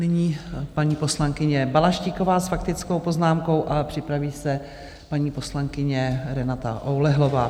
Nyní paní poslankyně Balaštíková s faktickou poznámkou a připraví se paní poslankyně Renata Oulehlová.